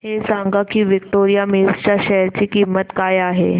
हे सांगा की विक्टोरिया मिल्स च्या शेअर ची किंमत काय आहे